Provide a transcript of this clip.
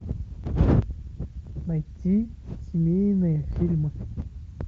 найти семейные фильмы